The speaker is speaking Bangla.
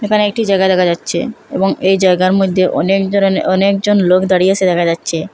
এখানে একটি জাগা দেখা যাচ্ছে এবং এই জায়গার মধ্যে অনেক জরনের অনেকজন লোক দাঁড়িয়ে আসে দেখা যাচ্ছে।